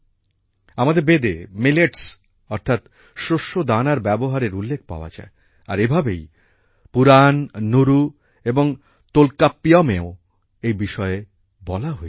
আমাদের বেদে মিলেটস অর্থাৎ শস্যদানার ব্যবহারের উল্লেখ পাওয়া যায় আর এভাবেই পুরাণ নুরু এবং তোল্কাপ্পিয়মেও এই বিষয়ে বলা হয়েছে